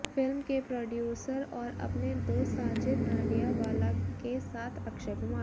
film के producer और अपने दोस्त साजिद नाडियावाला के साथ अक्षय कुमार